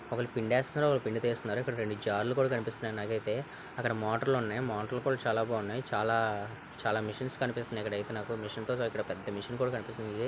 ఒకలు పిండి వేస్కున్నారు ఒకరు తీస్తున్నారు రెండు జల్లు కూడా కనిపిస్తున్నాయి నాకు అయితే అకడ మోటర్లు ఉన్నాయి మోటార్లు కూడా చాలా బాగున్నాయి చాలా మిషన్స్ కనిపిస్తున్నాయి ఇక్కడ అయితే నాకు ఇక్కడ పెద్ద మిషన్ కనిపిస్తుంది. .